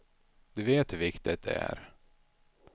Du vet hur viktigt det är.